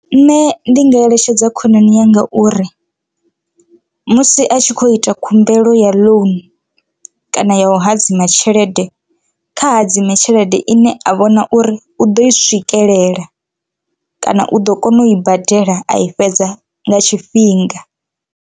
Nṋe ndi nga eletshedza khonani yanga uri musi a tshi khou ita khumbelo ya ḽounu kana ya u hadzima tshelede kha hadzima tshelede ine a vhona uri u ḓo i swikelela kana u ḓo kona u i badela a i fhedza nga tshifhinga.